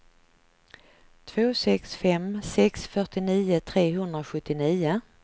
två sex fem sex fyrtionio trehundrasjuttionio